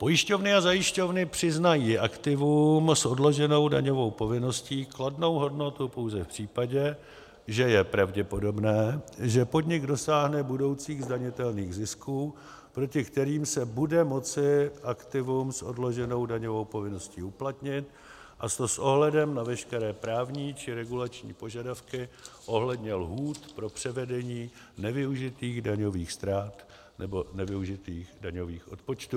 Pojišťovny a zajišťovny přiznají aktivům s odloženou daňovou povinností kladnou hodnotu pouze v případě, že je pravděpodobné, že podnik dosáhne budoucích zdanitelných zisků, proti kterým se bude moci aktivum s odloženou daňovou povinností uplatnit, a to s ohledem na veškeré právní či regulační požadavky ohledně lhůt pro převedení nevyužitých daňových ztrát nebo nevyužitých daňových odpočtů.